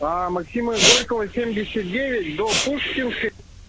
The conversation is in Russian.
по максима горького семьдесят девять до пушкинской